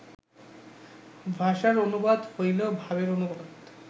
ভাষার অনুবাদ হইলেই ভাবের অনুবাদ